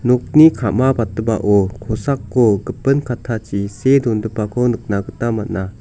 nokni ka·mabatgipao kosako gipin kattachi see dongipako nikna gita man·a.